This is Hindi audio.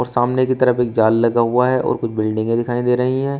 सामने की तरफ एक जाल लगा हुआ है और कुछ बिल्डिंगे दिखाई दे रही है।